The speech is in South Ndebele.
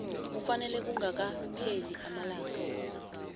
kufanele kungakapheli amalanga